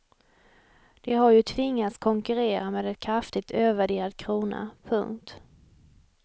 De har ju tvingats konkurrera med en kraftigt övervärderad krona. punkt